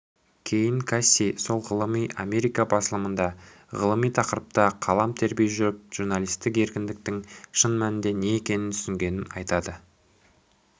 кейін касси сол ғылыми америкабасылымында ғылыми тақырыпта қалам тербей жүріп журналистік еркіндіктің шын мәнінде не екенін түсінгенін айтады